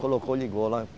Colocou, ligou lá.